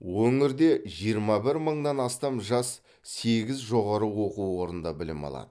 өңірде жиырма бір мыңнан астам жас сегіз жоғары оқу орнында білім алады